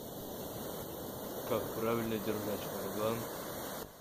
как правильно держать варган